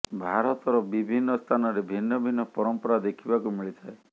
ଭାରତର ବିଭିନ୍ନ ସ୍ଥାନରେ ଭିନ୍ନ ଭିନ୍ନ ପରମ୍ପରା ଦେଖିବାକୁ ମିଳିଥାଏ